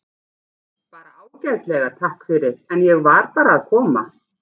Bara ágætlega, takk fyrir, en ég var bara að koma.